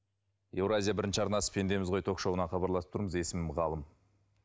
евразия бірінші арнасы пендеміз ғой ток шоуынан хабарласып тұрмыз есімім ғалым